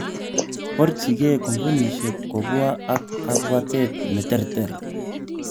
Borchinge kompunishek kobwa ak kabwatet neterter.